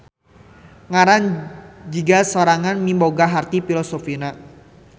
Ngaran Zigaz sorangan miboga harti filosofisna.